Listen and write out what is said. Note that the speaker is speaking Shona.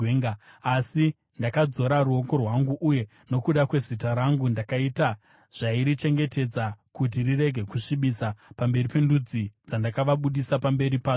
Asi ndakadzora ruoko rwangu, uye nokuda kwezita rangu ndakaita zvairichengetedza kuti rirege kusvibiswa pamberi pendudzi dzandakavabudisa pamberi padzo.